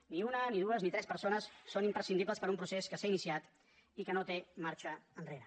ni una ni dues ni tres persones són imprescindibles per a un procés que s’ha iniciat i que no té marxa enrere